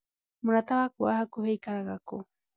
Mũrata waku wa hakuhĩ aikaraga kũ?